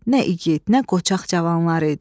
Nə igid, nə qoçaq cavanlar idi.